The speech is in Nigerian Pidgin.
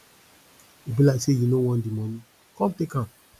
e be like say you no want the money come take am